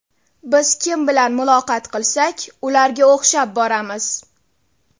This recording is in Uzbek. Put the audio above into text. Biz kim bilan muloqot qilsak, ularga o‘xshab boramiz.